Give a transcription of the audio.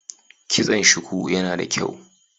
Kitson shuku yana da kyau.